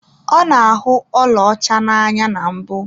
Ọ na-ahụ ọlaọcha n'anya na mbụ.